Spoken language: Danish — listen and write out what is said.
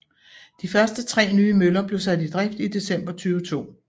De første tre nye møller blev sat i drift i december 2002